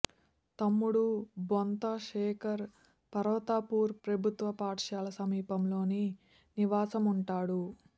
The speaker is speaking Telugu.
తమ్ముడు బొంత శేఖర్ పర్వతాపూర్ ప్రభుత్వ పాఠశాల సమీపంలోని నివాసం ఉంటాడు